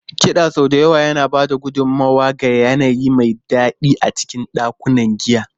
Kiɗa sau da yawa yana ba da gudummawa ga yanayi mai daɗi a cikin ɗakunan giya.